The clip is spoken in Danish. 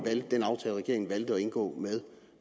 valgte at indgå